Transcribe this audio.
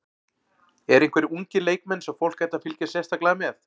Eru einhverjir ungir leikmenn sem fólk ætti að fylgjast sérstaklega með?